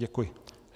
Děkuji.